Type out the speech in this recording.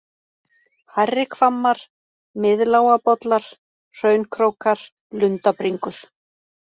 Hærri-Hvammar, Miðlágabollar, Hraunkrókar, Lundabringur